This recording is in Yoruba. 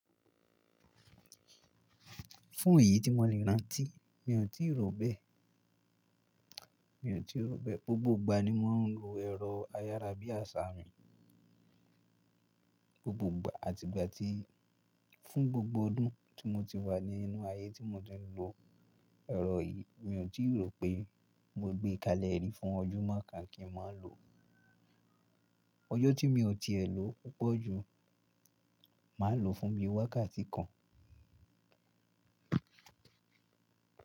Fún èyí tí mo lè rántí, mi ò tíì rò ó bẹ́ẹ̀. Mi ò tíì rò bẹ́ẹ̀. Gbogbo ìgbà ni mo ń lo ẹ̀rọ ayárabíàsá mi, gbogbo ìgbà àti ìgbà tí fún gbogbo ọdún tí mo ti wà ní inú ayé tí mo ti ń lo ẹ̀rọ yìí, mi ò tíì rò pé mo gbé kalẹ̀ rí fún ojú mọ́ kàn kí n má ló ọjọ́ tí mi ò tiẹ̀ lo púpọ̀ ju máa lò fún bí wákàtí kan.